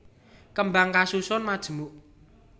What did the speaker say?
Kembang kasusun majemuk